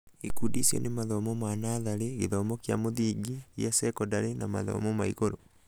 ikundi icio nĩ mathomo ma natharĩ, gĩthomo kia mũthingi, gia cekondarĩ na mathomo ma igũrũ.